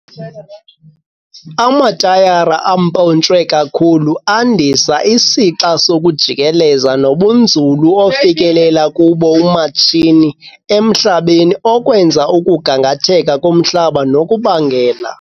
Amatayara ampontshwe kakhulu andisa isixa sokujikeleza nobunzulu ofikelela kubo umatshini emhlabeni okwenza ukugangatheka komhlaba nokubangela.